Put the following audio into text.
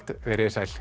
veriði sæl